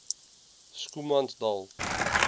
schoemansdal